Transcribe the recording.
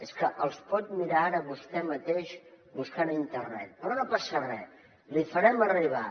és que els pot mirar ara vostè mateix buscant a internet però no passa res l’hi farem arribar